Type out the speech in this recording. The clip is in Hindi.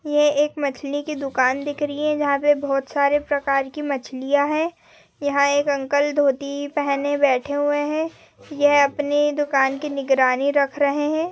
ये एक मछली की दुकान दिख रही है। जहां पे बहुत सारे प्रकार की मछलियाँ है। यहां एक अंकल धोती पहने बैठे हुए है यह अपनी दुकान की निगरानी रख रहे हैं।